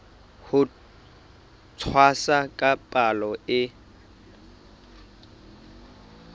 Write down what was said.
ho tshwasa ka palo e